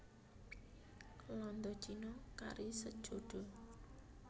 Landa Cina kari sejodho